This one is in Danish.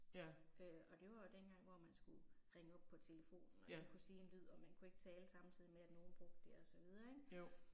Ja. Ja. Jo